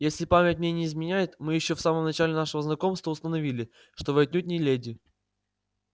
если память мне не изменяет мы ещё в самом начале нашего знакомства установили что вы отнюдь не леди